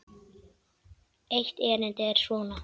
Eitt erindið er svona